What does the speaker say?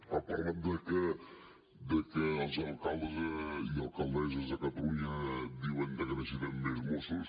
ha parlat de que els alcaldes i alcaldesses de catalunya diuen que necessitem més mossos